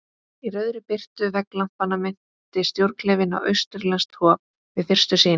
Í rauðri birtu vegglampanna minnti stjórnklefinn á austurlenskt hof- við fyrstu sýn.